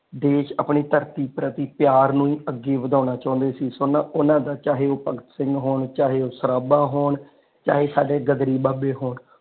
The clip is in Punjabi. ਦੇਸ਼ ਆਪਣੀ ਧਰਤੀ ਪ੍ਰਤੀ ਪਿਆਰ ਨੂੰ ਹੀ ਅੱਗੇ ਵਧਾਉਣਾ ਚਾਉਂਦਾ ਸੀ ਸੁਨ ਓਹਨਾ ਦਾ ਚਾਹੇ ਉਹ ਭਗਤ ਸਿੰਘ ਹੁਣ ਚਾਹੇ ਉਹ ਸਰਾਭਾ ਹੋਣ ਚਾਹੇ ਸਾਡੇ ਗ਼ਦਰੀ ਬਾਬੇ ਹੋਣ।